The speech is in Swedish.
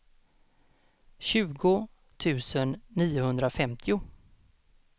tjugo tusen niohundrafemtio